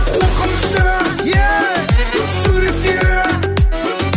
қорқынышты суреттерің